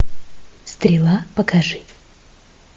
стрела покажи